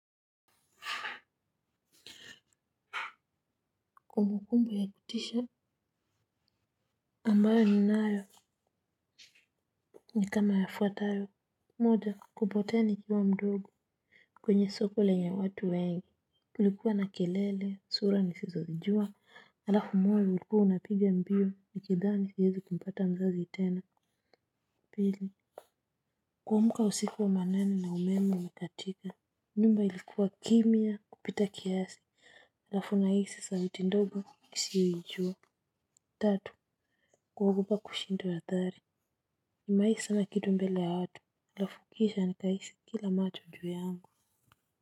Kumbukumbu ya kutisha ambayo ninayo ni kama yafuatayo. Moja kupotea nikiwa mdogo kwenye soko lenye watu wengi kulikuwa na kelele sura nisizozijua. Alafu moyo ulikuwa unapiga mbio nikidhani siezi kumpata mzazi tena. Pili kuamka usiku wa manane na umeme umekatika. Nyumba ilikuwa kimya kupita kiasi. Alafu nahisi sauti ndogo nisiyoijua. Tatu kuogopa kushindwa hadhari nimewahi sema kitu mbele ya watu, halafu kisha nikahisi kila macho juu yangu.